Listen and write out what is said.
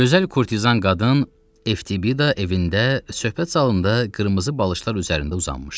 Gözəl kurtizan qadın Eftibida evində söhbət zalında qırmızı balışlar üzərində uzanmışdı.